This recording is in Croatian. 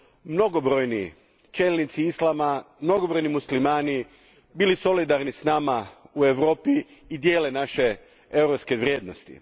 su mnogobrojni čelnici islama, mnogobrojni muslimani bili solidarni s nama u Europi i dijele naše europske vrijednosti.